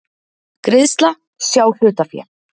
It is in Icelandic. Greiðsla, sjá hlutafé